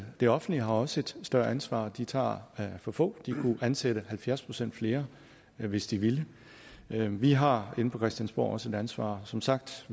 det offentlige har også et større ansvar de tager for få de kunne ansætte halvfjerds procent flere hvis de ville vi har inde på christiansborg også et ansvar som sagt